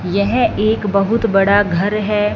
यह एक बहुत बड़ा घर है।